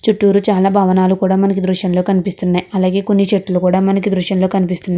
చుట్టురు చాలా భవనాలు కూడా మనకు దృశంలో కనిపిస్తున్నాయి. అలాగే కొన్ని చెట్లు కూడా మనకి దృశ్యం లో కనిపిస్తున్నాయి.